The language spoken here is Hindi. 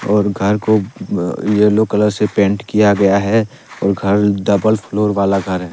और घर को अह येलो कलर से पेंट किया गया है और घर डबल फ्लोर वाला घर है।